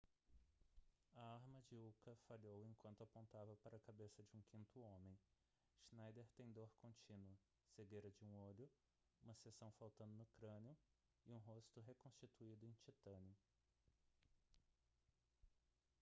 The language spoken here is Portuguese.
a arma de uka falhou enquanto apontava para a cabeça de um quinto homem schneider tem dor contínua cegueira de um olho uma seção faltando no crânio e um rosto reconstruído em titânio